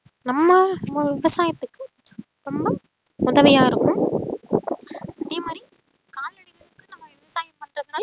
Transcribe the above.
நம்ம விவசாயத்துக்கு ரொம்ப உதவியா இருக்கும் அதே மாதிரி கால்நடைகளுக்கு நம்ம விவசாயம் பண்றதுனால